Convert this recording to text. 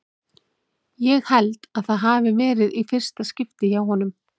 Ég held að það hafi verið í fyrsta skipti hjá honum.